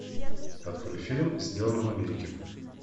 открой фильм сделано в америке